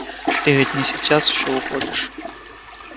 ты ведь не сейчас ещё уходишь